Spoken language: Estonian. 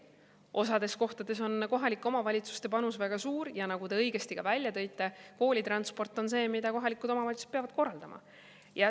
Osas kohtades on kohalike omavalitsuste panus väga suur ja nagu te õigesti välja tõite, koolitransport on see, mida kohalikud omavalitsused peavad korraldama.